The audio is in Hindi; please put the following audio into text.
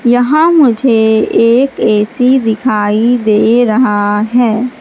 यहां मुझे एक ए_सी दिखाई दे रहा है।